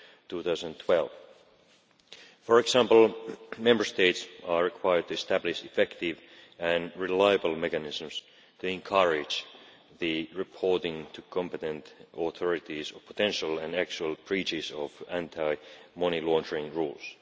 2012. For example, Member States are required to establish effective and reliable mechanisms to encourage the reporting to competent authorities of potential and actual breaches of anti money laundering rules.